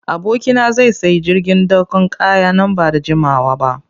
Abokina zai sayi jirgin dakon kaya nan ba da jimawa ba.